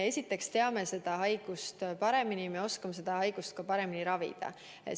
Me esiteks teame sellest haigusest rohkem, me oskame seda paremini ravida.